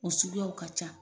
O suguyaw ka ca.